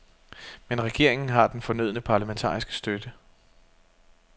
Men regeringen har den fornødne parlamentariske støtte.